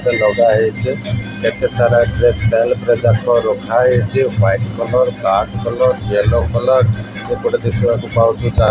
ତେ ଲଗାହେଇଚେ। କେତେ ସାରା ଡ୍ରେସ୍ ସେଲ୍ଫ୍ ରେ ଯାକ ରଖାହେଇଚେ white colour black colour yellow colour. ସେପଟେ ଦେଖିବାକୁ ପାଉଚୁ ଚା --